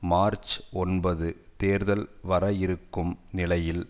March ஒன்பது தேர்தல் வர இருக்கும் நிலையில்